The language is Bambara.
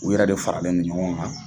U yɛrɛ de faralen no ɲɔgɔn kan.